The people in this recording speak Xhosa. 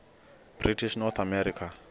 british north america